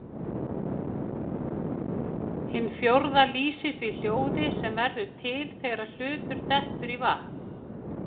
Hin fjórða lýsir því hljóði sem verður til þegar hlutur dettur í vatn.